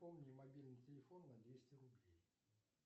пополни мобильный телефон на двести рублей